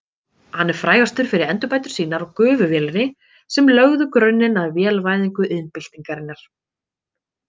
Hann er frægastur fyrir endurbætur sínar á gufuvélinni sem lögðu grunninn að vélvæðingu iðnbyltingarinnar.